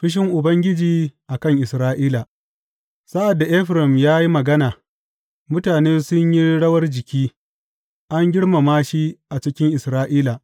Fushin Ubangiji a kan Isra’ila Sa’ad da Efraim ya yi magana, mutane sun yi rawan jiki; an girmama shi a cikin Isra’ila.